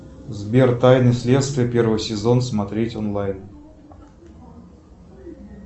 сбер тайны следствия первый сезон смотреть онлайн